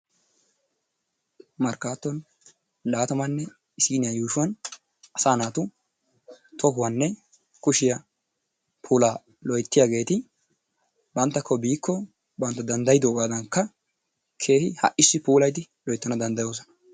Markatton laattamanne issiniyaa yuushuwaan asa naatu tohuwanne kushiyaa puulla loyttiyaageeti banttakko biikko bantta danddaydoogaadankka keehi ha'issi puulayidi loyttana danddayoosona.